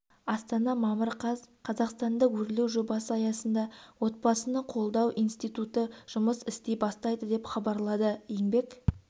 астана мамыр қаз қазақстанда өрлеу жобасы аясында отбасыны қолдау институты жұмыс істей бастайды деп хабарлады еңбек